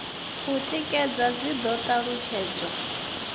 u tikedza dzi do talutshedzwa